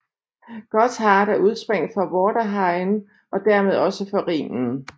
Gotthard er udspring for Vorderrhein og dermed også for Rhinen